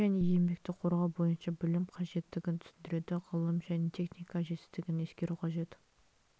және еңбекті қорғау бойынша білім қажеттігін түсіндіреді ғылым және техника жетістігін ескеру қажет